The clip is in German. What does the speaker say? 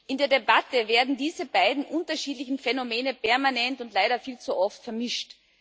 In der Debatte werden diese beiden unterschiedlichen Phänomene permanent und leider viel zu oft vermischt.